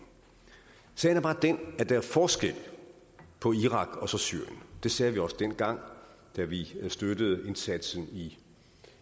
sagen er bare den at der er forskel på irak og syrien det sagde vi også dengang vi vi støttede indsatsen i